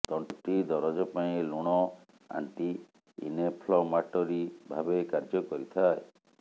ତଣ୍ଟି ଦରଜ ପାଇଁ ଲୁଣ ଆଣ୍ଟି ଇନ୍ଫ୍ଲେମାଟରି ଭାବେ କାର୍ଯ୍ୟ କରିଥାଏ